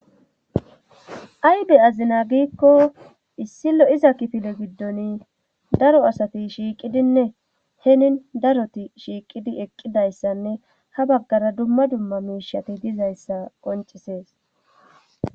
ay be'azina giikko issi lo'iza kifile giddoni daro asati shiiqidinne henin daroti shiiqidi eqqidayssanne ha baggara dumma dumma miishati dizayssa qoncisees